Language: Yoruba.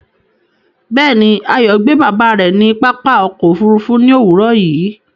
Bẹ́ẹ̀ni, Ayo gbe baba rẹ ni pápá ọkọ̀ òfurufú ni owurọ yìí